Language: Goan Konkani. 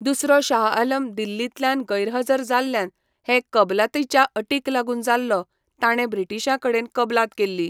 दुसरो शाह आलम दिल्लींतल्यान गैरहजर जाल्ल्यान हे कबलातीच्या अटींक लागून जाल्लो, ताणें ब्रिटिशांकडेन कबलात केल्ली.